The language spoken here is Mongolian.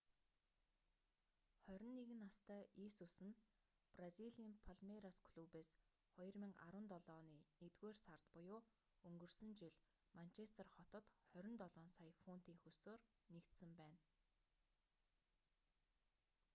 21 настай есүс нь бразилийн палмейрас клубээс 2017 оны нэгдүгээр сард буюу өнгөрсөн жил манчестер хотод 27 сая фунтын хөлсөөр нэгдсэн байна